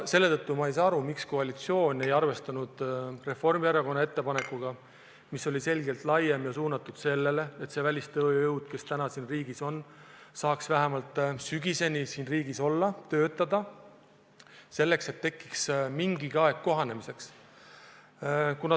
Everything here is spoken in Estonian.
Seetõttu ei saa ma aru, miks koalitsioon ei arvestanud Reformierakonna ettepanekut, mis oli selgelt laiem ja suunatud sellele, et välistööjõud, kes täna siin riigis on, saaks vähemalt sügiseni siin olla ja töötada, et tekiks mingigi aeg kohanemiseks.